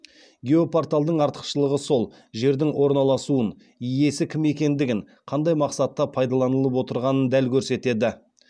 геопорталдың артықшылығы сол жердің орналасуын иесі кім екендігін қандай мақсатта пайдаланылып отырғанын дәл көрсетеді